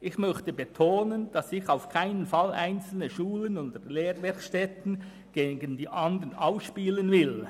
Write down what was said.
Ich möchte betonen, dass ich auf keinen Fall einzelne Schulen und Lehrwerkstätten gegen andere ausspielen will.